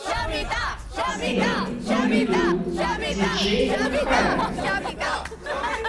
сбер на ютуб диджей халед